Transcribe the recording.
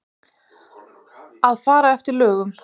Að fara eftir lögum.